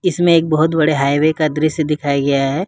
इसमें एक बहुत बड़े हाइवे का दृश्य दिखाया गया है।